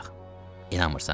İnanmırsan?